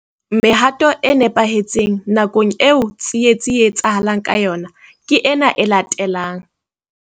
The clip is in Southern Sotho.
Mehato e nepahetseng nakong eo tsietsi e etsahalang ka yona ke ena e latelang.